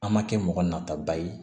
An ma kɛ mɔgɔ nataba ye